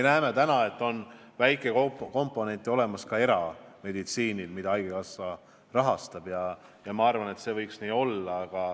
Samas me näeme, et on erameditsiini väikekomponente, mida haigekassa samuti rahastab, ja ma arvan, et see võikski nii olla.